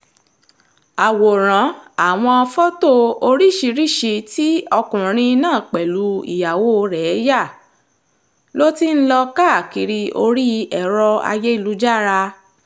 àwòrán àwọn fọ́tò oríṣìíríṣìí tí ọkùnrin náà pẹ̀lú ìyàwó rẹ̀ yà ló ti ń lọ káàkiri orí ẹ̀rọ ayélujára